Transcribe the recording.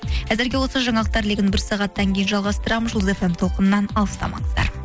әзірге осы жаңалықтар легін бір сағаттан кейін жалғастырамыз жұлдыз эф эм толқынынан алыстамаңыздар